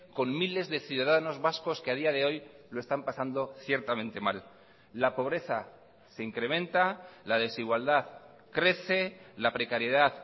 con miles de ciudadanos vascos que a día de hoy lo están pasando ciertamente mal la pobreza se incrementa la desigualdad crece la precariedad